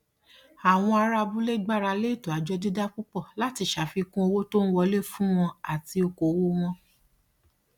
àwọn ará abúlé gbárálé ètò àjọ dídá púpọ láti ṣe àfikún owó tó ń wọlé fún wọn àti okoòwò wọn